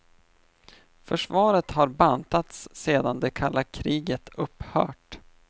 Försvaret har bantats sedan det kalla kriget upphört.